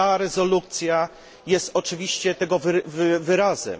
Ta rezolucja jest oczywiście tego wyrazem.